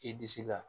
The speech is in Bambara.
I disi la